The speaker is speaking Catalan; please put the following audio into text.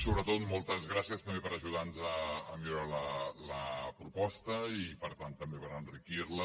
sobretot moltes gràcies també per ajudar nos a millorar la proposta i per tant també per enriquir la